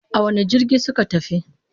A wane jirgi suka tafi?